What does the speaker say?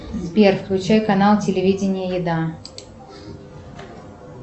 сбер включай канал телевидения еда